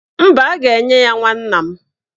Mba, a ga-enye ya nwanna m